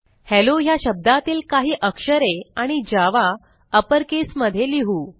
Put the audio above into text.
hello ह्या शब्दातील काही अक्षरे आणि जावा अपर केस मध्ये लिहू